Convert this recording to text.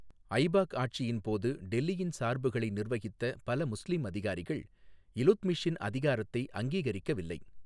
ஐபாக் ஆட்சியின் போது டெல்லியின் சார்புகளை நிர்வகித்த பல முஸ்லீம் அதிகாரிகள், இலுத்மிஷின் அதிகாரத்தை அங்கீகரிக்கவில்லை.